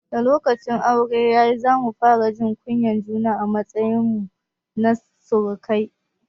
Da lokacin auren ya yi, za mu fara jin kunyar juna a matsayin mu na surukai.